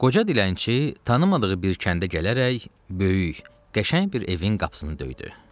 Qoca dilənçi tanımadığı bir kəndə gələrək, böyük, qəşəng bir evin qapısını döydü.